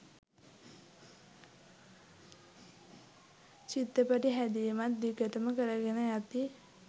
චිත්‍රපටි හැදීමත් දිගටම කරගෙන යති